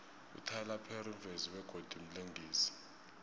ityler perry mvezi begodu mlingisi